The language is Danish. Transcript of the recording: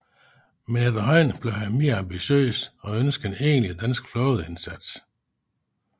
Men efterhånden blev han mere ambitiøs og ønskede en egentlig dansk flådeindsats